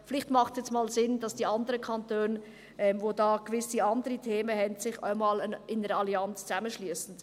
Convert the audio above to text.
Vielleicht macht es jetzt einmal Sinn, dass sich die anderen Kantone, die da gewisse andere Themen haben, in einer Allianz zusammenschliessen.